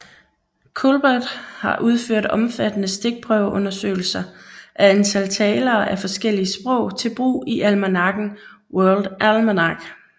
Culbert har udført omfattende stikprøveundersøgelser af antal talere af forskellige sprog til brug i almanakken World Almanac